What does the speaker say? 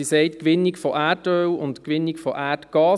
Sie sagt «Gewinnung von Erdöl und von Erdgas».